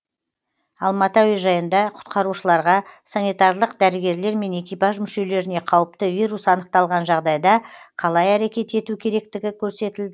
алматы әуежайында құтқарушыларға санитарлық дәрігерлер мен экипаж мүшелеріне қауіпті вирус анықталған жағдайда қалай әрекет ету керектігі көрсетілді